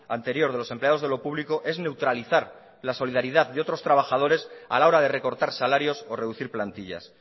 anterior de los empleados de lo público es neutralizar la solidaridad de otros trabajadores a la hora de recortar salarios o reducir plantillas